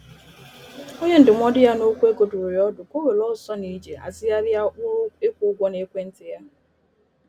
Onye ndụmọdụ ya N'okwụ ego dụrụ ya ọdụ ka ọ were ọsọ na ije hazigharịa ụkpụrụ ịkwụ ụgwọ n'ekwentị ya.